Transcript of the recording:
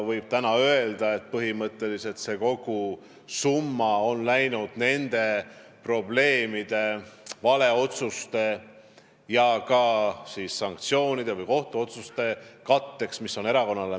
Täna võib öelda, et põhimõtteliselt on kogu see summa läinud probleemide ja valeotsuste lahendamiseks, sanktsioonide ja kohtuotsuste täitmise katteks.